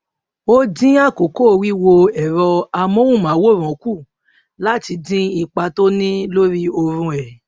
ó dín àkókò wíwo ẹrọ amóhùnmáwòrán kù láti dín ipa tí ó ń ní lórí oorun ẹ